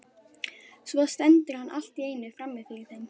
Svo stendur hann allt í einu frammi fyrir þeim.